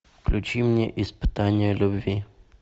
включи мне испытание любви